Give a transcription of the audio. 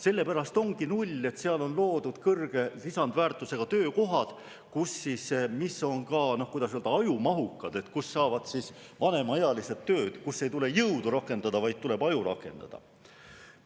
Sellepärast ongi null, et seal on loodud kõrge lisandväärtusega töökohad, mis on ka, kuidas öelda, ajumahukad,, kus saavad ka vanemaealised tööd, kus ei tule rakendada jõudu, vaid tuleb rakendada aju.